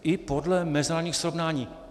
I podle mezinárodních srovnání.